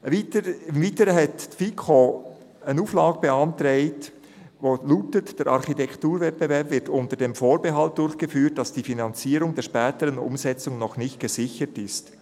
Im Weiteren hat die FiKo eine Auflage beantragt, die lautet: «Der Architekturwettbewerb wird unter dem Vorbehalt durchgeführt, dass die Finanzierung der späteren Umsetzung noch nicht gesichert ist.